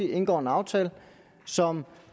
indgår en aftale som